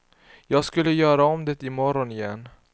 Jag skulle göra om det imorgon igen.